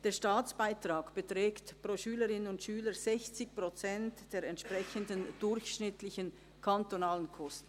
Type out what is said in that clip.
Der Staatsbeitrag beträgt pro Schülerin oder Schüler 60 Prozent der entsprechenden durchschnittlichen kantonalen Kosten.